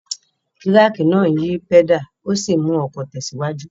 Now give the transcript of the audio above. Kíráńkì náà ń yí pẹ́dàlì ó sì ń mú ọkọ̀ tẹ̀síwájú